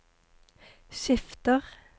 skifter